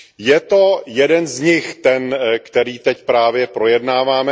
Je to jeden z nich, ten který teď právě projednáváme.